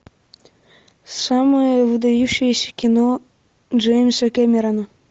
самое выдающееся кино джеймса кэмерона